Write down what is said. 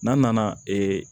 N'a nana ee